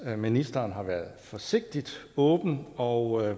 at ministeren har været forsigtigt åben og